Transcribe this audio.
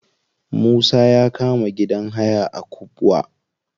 Musa ya kama gidan haya a kubwa.